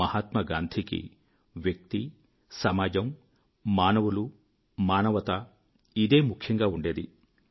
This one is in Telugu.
మహాత్మా గాంధీకి వ్యక్తి సమాజం మానవులు మానవత ఇదే ముఖ్యంగా ఉండేది